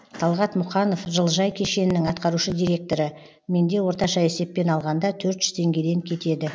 талғат мұқанов жылыжай кешенінің атқарушы директоры менде орташа есеппен алғанда төрт жүз теңгеден кетеді